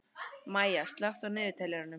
Maya, slökktu á niðurteljaranum.